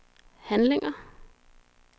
handlinger